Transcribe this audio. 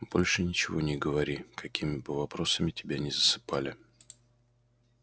больше ничего не говори какими бы вопросами тебя ни засыпали